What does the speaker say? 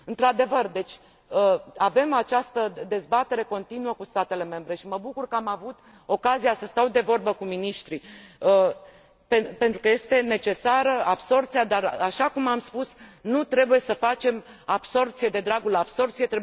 Într adevăr, avem această dezbatere continuă cu statele membre și mă bucur că am avut ocazia să stau de vorbă cu miniștrii, pentru că este necesară absorbția dar, așa cum am spus, nu trebuie să facem absorbție de dragul absorbției.